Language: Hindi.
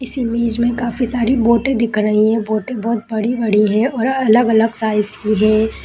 इस इमेज में काफी सारी बोटे दिख रही है बोटे बहुत बड़ी बड़ी है और अलग अलग साइज की है।